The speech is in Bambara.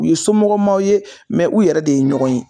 U ye somɔgɔmaw ye m ɛ u yɛrɛ de ye ɲɔgɔn ye